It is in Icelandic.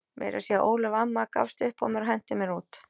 Meira að segja Ólöf amma gafst upp á mér og henti mér út.